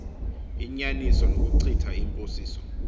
inyaniso nokuchitha imposiso